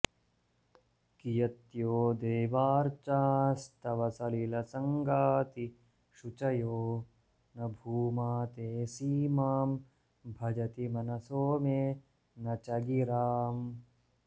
कियत्यो देवार्चास्तव सलिलसङ्गातिशुचयो न भूमा ते सीमां भजति मनसो मे न च गिराम्